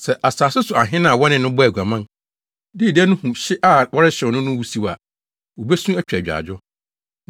“Sɛ asase so ahene a wɔne no bɔɔ aguaman, dii dɛ no hu hye a wɔrehyew no no wusiw a, wobesu atwa agyaadwo.